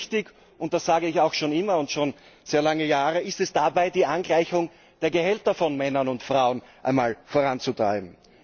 Ganz wichtig und das sage ich auch schon immer und seit langem ist es dabei, die Angleichung der Gehälter von Männern und Frauen voranzutreiben.